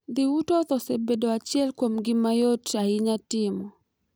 Dhi wutoth osebedo achiel kuom gik ma yot ahinya timo.